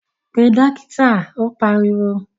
Pe Dókítà. Ó pariwo